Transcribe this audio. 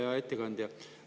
Hea ettekandja!